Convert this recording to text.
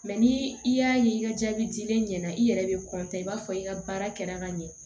Mɛ ni i y'a ye i ka jaabi dilen ɲɛna i yɛrɛ bɛ i b'a fɔ i ka baara kɛra ka ɲɛ